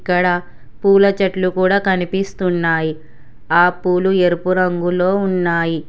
ఇక్కడ పూల చెట్లు కూడా కనిపిస్తున్నాయి ఆ పూలు ఎరుపు రంగులో ఉన్నాయి.